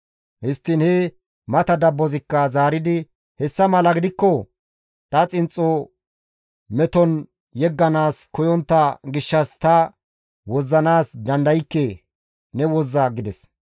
Histtiin he mata dabbozikka zaaridi, «Hessa mala gidikko ta xinxxo meton yegganaas koyontta gishshas ta wozzanaas dandaykke; ne wozza» gides.